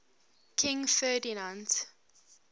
king ferdinand